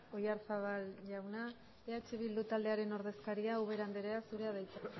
oyarzabal jauna eh bildu taldearen ordezkaria ubera andrea zurea da hitza